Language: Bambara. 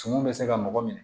Sumun bɛ se ka mɔgɔ minɛ